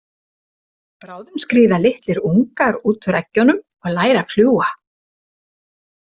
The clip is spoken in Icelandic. Bráðum skríða litlir ungar út úr eggjunum og læra að fljúga.